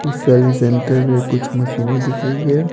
इस service centre में कुछ मशीनें दिख रही है।